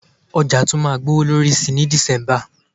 Ọjà tún máa gbowó lórí sí ní December